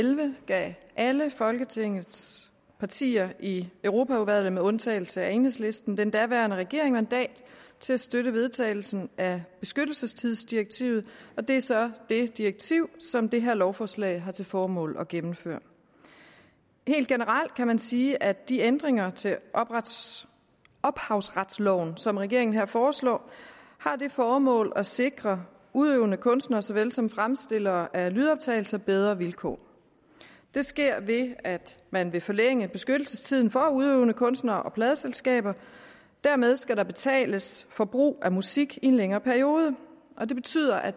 elleve gav alle folketingets partier i europaudvalget med undtagelse af enhedslisten den daværende regering mandat til at støtte vedtagelsen af beskyttelsestidsdirektivet og det er så det direktiv som det her lovforslag har til formål at gennemføre helt generelt kan man sige at de ændringer til ophavsretsloven som regeringen her foreslår har det formål at sikre udøvende kunstnere såvel som fremstillere af lydoptagelser bedre vilkår det sker ved at man vil forlænge beskyttelsestiden for udøvende kunstnere og pladeselskaber dermed skal der betales for brug af musik i en længere periode og det betyder at